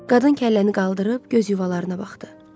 Qadın kəlləni qaldırıb göz yuvalarına baxdı.